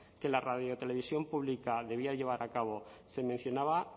que la radiotelevisión pública debía llevar a cabo se mencionaba